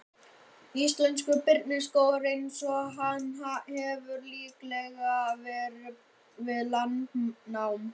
Íslenskur birkiskógur eins og hann hefur líklega verið við landnám.